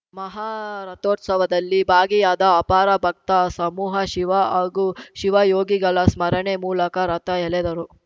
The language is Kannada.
ಮಹಾರಥೋತ್ಸವದಲ್ಲಿ ಭಾಗಿಯಾದ ಅಪಾರ ಭಕ್ತ ಸಮೂಹ ಶಿವ ಹಾಗೂ ಶಿವಯೋಗಿಗಳ ಸ್ಮರಣೆ ಮೂಲಕ ರಥ ಎಳೆದರು